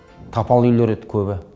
тапал үйлер еді көбі